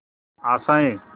आशाएं